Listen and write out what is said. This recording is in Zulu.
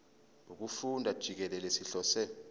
wokufunda jikelele sihlose